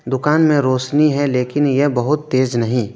दुकान में रौशनी है लेकिन यह बहुत तेज नहीं।